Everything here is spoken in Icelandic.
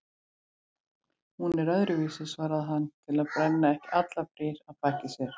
Hún er öðruvísi, svarar hann til að brenna ekki allar brýr að baki sér.